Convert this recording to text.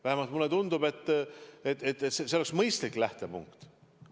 Vähemalt mulle tundub, et see oleks mõistlik lähtepunkt.